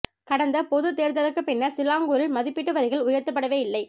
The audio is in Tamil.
கடந்த பொதுத் தேர்தலுக்குப் பின்னர் சிலாங்கூரில் மதிப்பீட்டு வரிகள் உயர்த்தப்படவே இல்லை